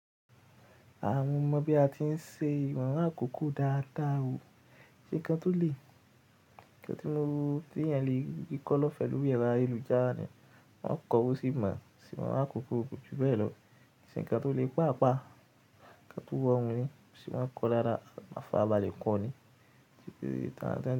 Àwọn mọ bí a ti ń ṣe ìwọ̀n àkókò dáadáa o. Nǹkan tó lè, ǹnkan tí won ti eeyan lè rí kọ́ lọ́ fẹ́ lórí ẹ̀rọ ayélujára ní wọ́n kọ wó sì mọ̀ sí ìwọ̀n àkókò koju bẹ́ẹ̀ lọ ṣe ǹnkan tó lè pa apa, ǹnkan tó rorun ní ṣì máa ń kọ lárà má faraba lè kọ́ ọ ní.